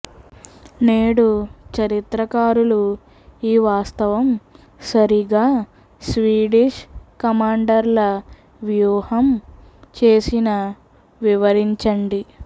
నేడు చరిత్రకారులు ఈ వాస్తవం సరిగా స్వీడిష్ కమాండర్ల వ్యూహం చేసిన వివరించండి